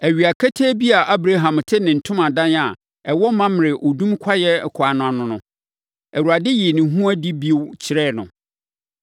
Awia ketee bi a Abraham te ne ntomadan a ɛwɔ Mamrɛ odum kwaeɛ ɛkwan ano no, Awurade yii ne ho adi bio kyerɛɛ no.